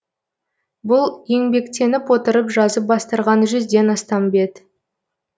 бұл еңбектеніп отырып жазып бастырған жүзден астам бет